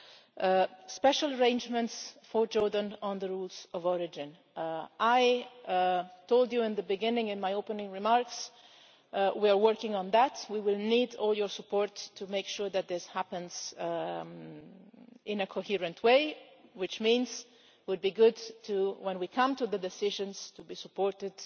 Regarding special arrangements for Jordan on the rules of origin, I told you in the beginning, in my opening remarks, that we are working on that. We will need all your support to make sure that this happens in a coherent way, which means that it would be good, when we come to the decisions, to be supported